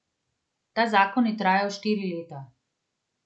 Ta zakon je trajal štiri leta.